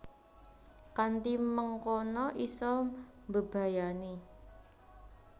Kanthi mengkono isa mbebayani